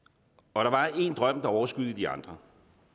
og der var én drøm der overskyggede de andre